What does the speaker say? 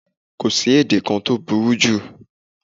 Kò sí èdè kan tó tóbijù